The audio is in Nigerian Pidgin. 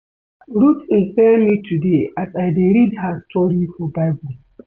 Ruth inspire me today as I dey read her story for bible